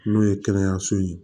N'o ye kɛnɛyaso ye